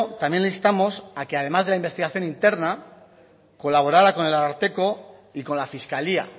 también le instamos a que además de la investigación interna colaborara con el ararteko y con la fiscalía